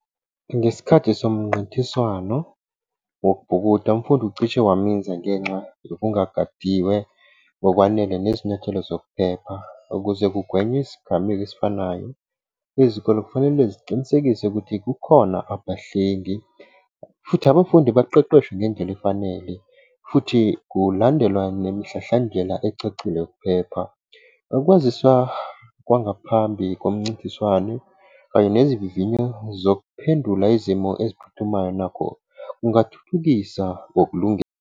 Ngesikhathi somnqintiswano wokubhukuda, umfundi ucishe waminza ngenxa yokungagadiwe ngokwanele nezinyathelo zokuphepha. Ukuze kugwenywe isigameko esifanayo lezikole kufanele siqinisekise ukuthi kukhona abahlengi, futhi abafundi baqeqeshwe ngendlela efanele futhi kulandelwa nemihlahlandlela ecacile ukuphepha. Ukwazisa kwangaphambi komncintiswano kanye nezivivinyo zokuphendula izimo eziphuthumayo nakho kungathuthukisa ngokulunge .